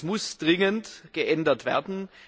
Das muss dringend geändert werden.